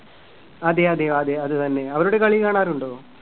അതെയതെ അതെ അത് തന്നെ. അവരുടെ കളി കാണാറുണ്ടോ?